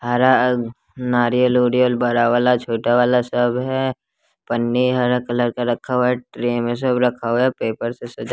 हरा नारियल ओरियल बड़ा वाला छोटा वाला सब है पन्नी हरा कलर का रखा हुआ ट्रे में सब रखा हुआ है पेपर से सजा--